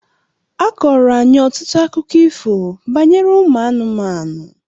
A kọọrọ anyị ọtụtụ akụkọ ifo banyere ụmụ anụmanụ.